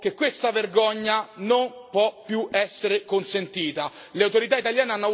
Ritengo che questa vergogna non possa più essere consentita.